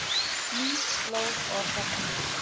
Ný slóð Orðabanka